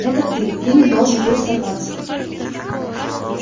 это ты ты не должен был соваться